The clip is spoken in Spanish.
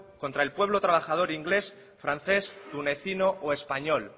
contra el pueblo trabajador ingles francés tunecino o español